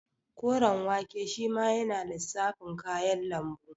Koren wake shima yana lissafin kayan lambu